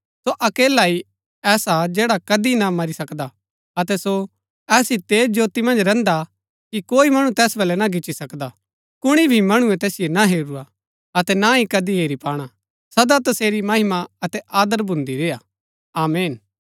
सो अकेला ही ऐसा हा जैड़ा कदी ना मरी सकदा अतै सो ऐसी तेज ज्योती मन्ज रैहन्दा हा कि कोई मणु तैस बलै ना गिच्ची सकदा कुणी भी मणुऐ तैसिओ ना हेरूरा अतै ना ही कदी हेरी पाणा सदा तसेरी महिमा अतै आदर भून्दा रेय्आ आमीन